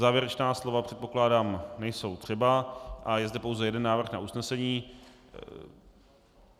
Závěrečná slova, předpokládám, nejsou třeba a je zde pouze jeden návrh na usnesení.